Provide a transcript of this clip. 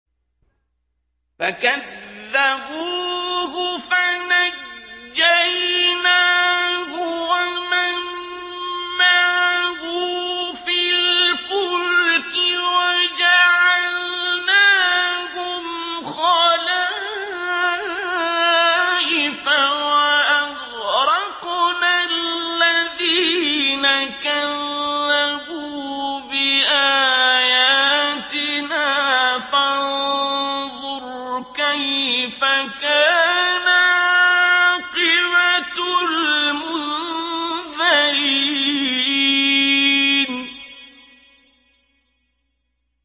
فَكَذَّبُوهُ فَنَجَّيْنَاهُ وَمَن مَّعَهُ فِي الْفُلْكِ وَجَعَلْنَاهُمْ خَلَائِفَ وَأَغْرَقْنَا الَّذِينَ كَذَّبُوا بِآيَاتِنَا ۖ فَانظُرْ كَيْفَ كَانَ عَاقِبَةُ الْمُنذَرِينَ